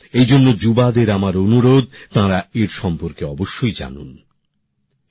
এইজন্য যুবদের আমার অনুরোধ তারা ওঁর সর্ম্পকে অবশ্যই জানুক